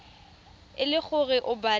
e le gore o batla